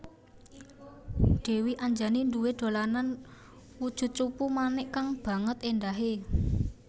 Dèwi Anjani duwé dolanan wujud cupu manik kang banget éndahé